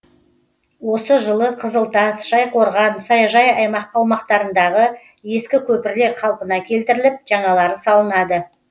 осы жылы қызылтас шайқорған саяжай аумақтарындағы ескі көпірлер қалпына келтіріліп жаңалары салынады